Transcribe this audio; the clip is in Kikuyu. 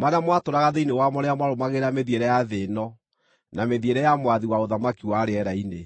marĩa mwatũũraga thĩinĩ wamo rĩrĩa mwarũmagĩrĩra mĩthiĩre ya thĩ ĩno na mĩthiĩre ya mwathi wa ũthamaki wa rĩera-inĩ,